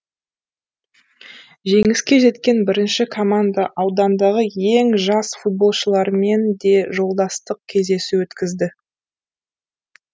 жеңіске жеткен бірінші команда аудандағы ең жас футболшылармен де жолдастық кездесу өткізді